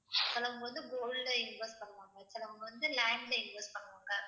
சிலவங்க வந்து gold ல invest பண்ணுவாங்க, சிலவங்க வந்து land ல invest பண்ணுவாங்க